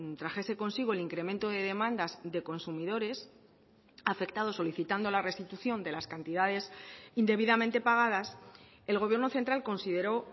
trajese consigo el incremento de demandas de consumidores afectados solicitando la restitución de las cantidades indebidamente pagadas el gobierno central consideró